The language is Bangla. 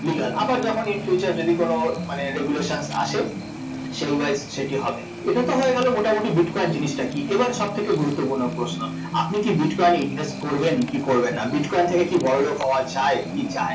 Legal আবার যখন in future যদি কোনো মানে regulations আসে সেই wise সেটি হবে, এটা তো হয়ে গেল মোটামুটি bitcoin জিনিসটা কী, এবার সবথেকে গুরুত্বপূর্ণ প্রশ্ন, আপনি কি bitcoin এ invest করবেন কী করবেন না? bitcoin থেকে কি বড়লোক হওয়া যায় কি যায়~